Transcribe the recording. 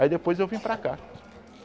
Aí depois eu vim para cá.